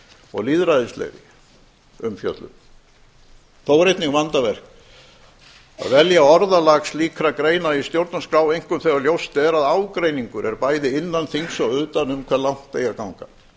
og lýðræðislegri umfjöllun þó er einnig vandaverk að velja orðalag slíkra greina í stjórnarskrá einkum þegar ljóst er að ágreiningur er bæði innan þings og utan um hve langt eigi að ganga